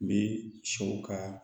Bi sɛw ka